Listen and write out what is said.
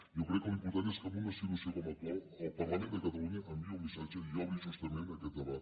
jo crec que l’important és que en una situació com l’actual el parlament de catalunya enviï un missatge i obri justament aquest debat